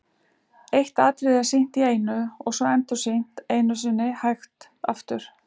Eitt atriði er sýnt í einu og svo endursýnt einu sinni hægt aftur.